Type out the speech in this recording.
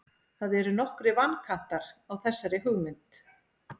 það eru nokkrir vankantar á þessari hugmynd